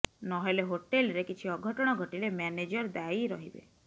ନ ହେଲେ ହୋଟେଲରେ କିଛି ଅଘଟଣ ଘଟିଲେ ମ୍ୟାନେଜର ଦାୟୀ ରହିବେ